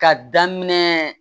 Ka daminɛ